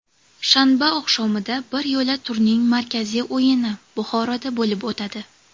Shanba oqshomida biryo‘la turning markaziy o‘yini Buxoroda bo‘lib o‘tadi.